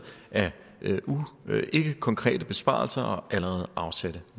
af ikkekonkrete besparelser og allerede afsatte